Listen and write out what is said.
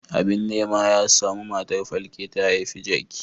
Abin nema ya samu matar falke ta haifi jaki.